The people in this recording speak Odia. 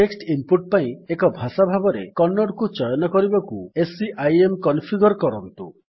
ଟେକ୍ସଟ୍ ଇନ୍ ପୁଟ୍ ପାଇଁ ଏକ ଭାଷା ଭାବରେ କନ୍ନଡକୁ ଚୟନ କରିବାକୁ ସିଆଇଏମ୍ କନଫିଗର୍ କରନ୍ତୁ